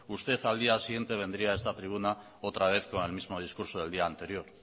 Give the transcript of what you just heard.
usted al día siguiente vendría a esta tribuna otra vez con el mismo discurso del día anterior